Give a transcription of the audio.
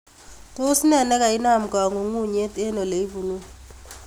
Tos nee nikainam kang'unyng'unyet en ole ipunu?